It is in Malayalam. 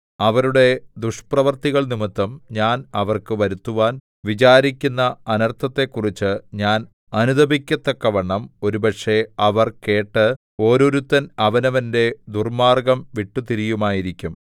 അവരുടെ ദുഷ്പ്രവൃത്തികൾനിമിത്തം ഞാൻ അവർക്ക് വരുത്തുവാൻ വിചാരിക്കുന്ന അനർത്ഥത്തെക്കുറിച്ച് ഞാൻ അനുതപിക്കത്തക്കവണ്ണം ഒരുപക്ഷേ അവർ കേട്ട് ഓരോരുത്തൻ അവനവന്റെ ദുർമ്മാർഗ്ഗം വിട്ടുതിരിയുമായിരിക്കും